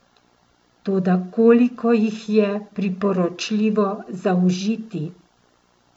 Toda koliko jih je priporočljivo zaužiti?